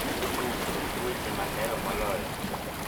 tug tuk weche mahero moloyo